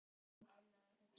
Geri, hringdu í Agna.